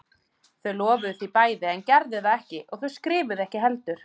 Þau lofuðu því bæði en gerðu það ekki og þau skrifuðu ekki heldur.